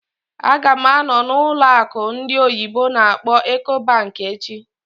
Ága m anọ n'ụlọ akụ ndị oyibo n'akpọ "Ecobank" echi